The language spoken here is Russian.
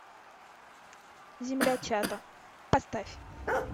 земля чато поставь